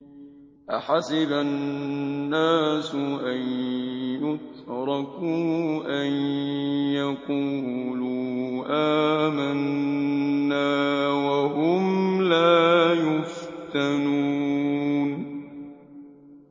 أَحَسِبَ النَّاسُ أَن يُتْرَكُوا أَن يَقُولُوا آمَنَّا وَهُمْ لَا يُفْتَنُونَ